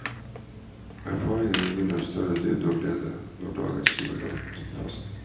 Erfaringene gir dem større dybde og glede, slår dagens jubilant fast.